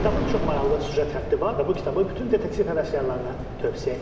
Kitabın çox maraqlı süjet xətti var və bu kitabı bütün detektiv həvəskarlarına tövsiyə edirəm.